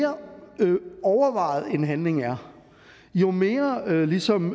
mere overvejet en handling er jo mere ligesom